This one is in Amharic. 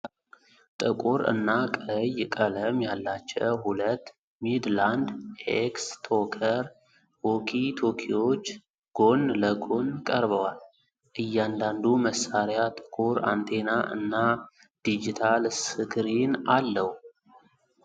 ጥቁር እና ቀይ ቀለም ያላቸው ሁለት ሚድላንድ ኤክስ-ቶከር ዎኪ-ቶኪዎች ጎን ለጎን ቀርበዋል። እያንዳንዱ መሳሪያ ጥቁር አንቴና እና ዲጂታል ስክሪን አለው።